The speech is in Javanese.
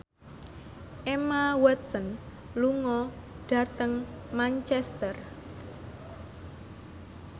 Emma Watson lunga dhateng Manchester